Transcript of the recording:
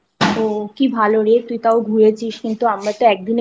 ও কি ভালো রে তুই তাও ঘুরেছিস কিন্তু আমরা তো